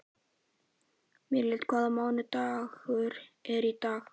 Míríel, hvaða mánaðardagur er í dag?